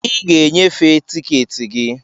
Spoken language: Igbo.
I ga e nyefee tiketi gị.